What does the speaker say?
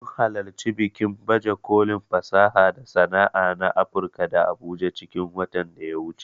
Mun halarci bikin baje kolin fasaha da sana'a na Afurka a abuja cikin watan da ya wuce